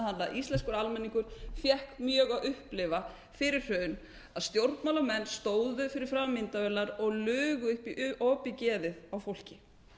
íslenskur almenningur fékk mjög að upplifa fyrir hrun að stjórnmálamenn stóðu fyrir framan myndavélarnar og lugu upp í opið geðið á fólki